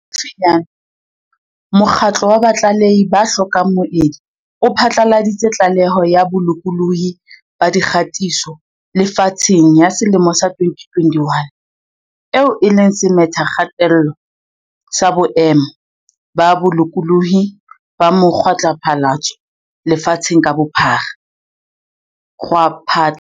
Haufinyane, mokgatlo wa Batlalehi ba hlokang Moedi o phatlaladitse Tlaleho ya Bolokolohi ba Dikgatiso Lefatsheng ya selemo sa 2021, eo e leng semethakgatello sa boemo ba bolokolohi ba mo kgwaphatlalatso lefatsheng ka bophara.